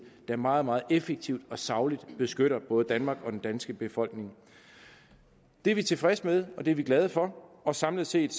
der meget meget effektivt og sagligt beskytter både danmark og den danske befolkning det er vi tilfredse med og det er vi glade for og samlet set